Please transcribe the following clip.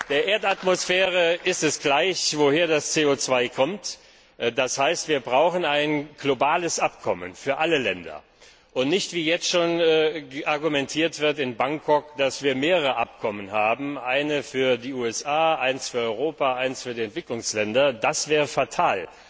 Der Erdatmosphäre ist es gleich woher das CO 2 kommt, das heißt, wir brauchen ein globales Abkommen für alle Länder, und nicht wie jetzt schon in Bangkok argumentiert wird mehrere Abkommen eins für die USA, eins für Europa, eins für die Entwicklungsländer das wäre fatal.